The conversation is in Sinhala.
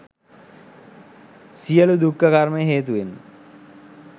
සියලු දුක්ඛ කර්ම හේතුවෙන්ම